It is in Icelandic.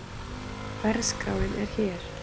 Verðskráin er hér